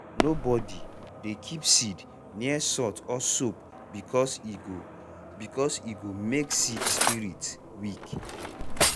nobody dey keep seed near salt or soap because e go because e go make seed spirit weak.